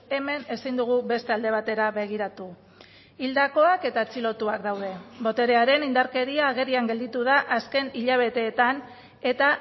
hemen ezin dugu beste alde batera begiratu hildakoak eta atxilotuak daude boterearen indarkeria agerian gelditu da azken hilabeteetan eta